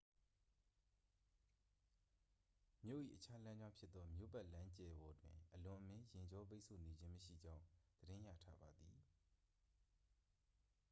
မြို့၏အခြားလမ်းကြောင်းဖြစ်သော မြို့ပတ်လမ်းကျယ်ပေါ်တွင် အလွန်အမင်းယာဉ်ကြောပိတ်ဆို့နေခြင်းမရှိကြောင်း သတင်းရထားပါသည်